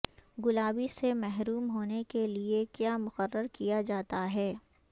گلابی سے محروم ہونے کے لئے کیا مقرر کیا جاتا ہے